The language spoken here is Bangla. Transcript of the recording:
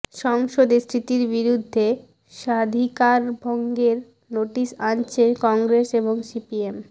সংসদে স্মৃতির বিরুদ্ধে স্বাধিকারভঙ্গের নোটিস আনছে কংগ্রেস এবং সিপিএম